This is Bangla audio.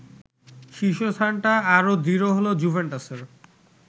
শীর্ষস্থানটা আরও দৃঢ় হলো জুভেন্টাসের